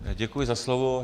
Děkuji za slovo.